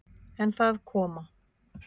En það koma